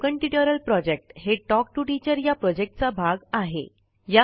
spoken tutorial project हे talk to teacher या प्रॉजेक्टचा भाग आहे